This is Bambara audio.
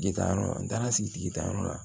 Jitayɔrɔ an taara sigi sigitayɔrɔ la